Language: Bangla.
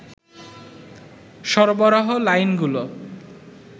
সরবরাহ লাইনগুলো